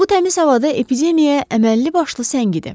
Bu təmiz havada epidemiyaya əməlli başlı səngidi.